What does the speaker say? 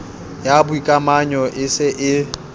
ya boikamanyo e se e